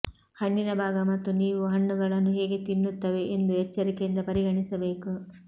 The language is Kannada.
ಹಣ್ಣಿನ ಭಾಗ ಮತ್ತು ನೀವು ಹಣ್ಣುಗಳನ್ನು ಹೇಗೆ ತಿನ್ನುತ್ತವೆ ಎಂದು ಎಚ್ಚರಿಕೆಯಿಂದ ಪರಿಗಣಿಸಬೇಕು